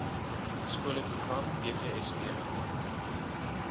skole program bvsp